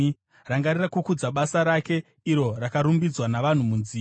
Rangarira kukudza basa rake, iro rakarumbidzwa navanhu munziyo.